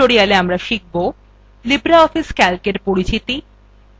libreoffice calcএর পরিচিতি